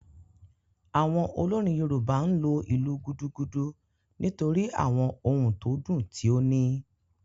Awon olorin yoruba n lo ilu “gudugudu” nitori àwon ohùn to dùn ti o níí.